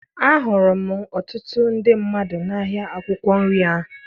Ahụrụ m ọtụtụ ndị mmadụ n'ahịa akwụkwọ nri ahụ